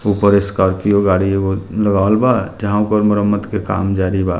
ऊपर स्कार्पियो गाड़ी उम्म एगो लगावल बा जहाँ ओकर मरम्मत के काम जारी बा।